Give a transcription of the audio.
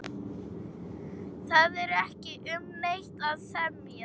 Það er ekki um neitt að semja